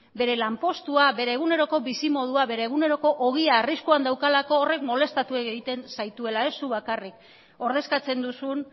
bere lanpostua bere eguneroko bizimodua bere eguneroko ogia arriskuan daukalako horrek molestatu egiten zaituela ez zuk bakarrik ordezkatzen duzun